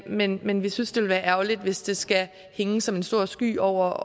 men men vi synes det ville være ærgerligt hvis det skal hænge som en sort sky over